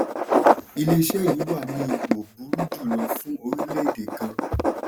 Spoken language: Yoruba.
iléeṣẹ́ yìí wà ní ipò burú jù lọ fún orílẹ̀èdè gan.